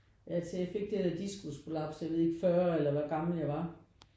Ja til jeg fik det der diskusprolaps jeg ved ikke 40 eller hvor gammel jeg var